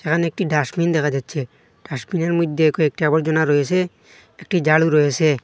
এখানে একটি ডাস্টবিন দেখা যাচ্ছে ডাস্টবিনের মইধ্যে কয়েকটি আবর্জনা রয়েসে একটি ঝাড়ু রয়েসে।